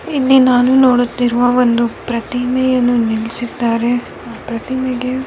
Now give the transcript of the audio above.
ನಿನ್ನೆ ನಾನು ನೋಡುತ್ತಿರುವ ಒಂದು ಪ್ರತಿಮೆಯನ್ನು ನಿಲ್ಲಿಸಿದ್ದಾರೆ ಆ ಪ್ರತಿಮೆಗೆ --